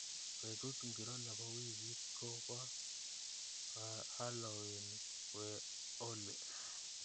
Betut ngiro nebo wiikit ko ba halowin we oli